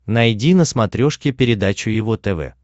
найди на смотрешке передачу его тв